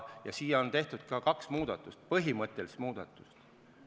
Siin on tehtud kaks põhimõttelist muudatust.